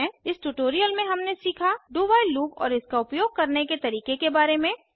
इस ट्यूटोरियल में हमने सीखा do व्हाइल लूप और इसका उपयोग करने के तरीके के बारे में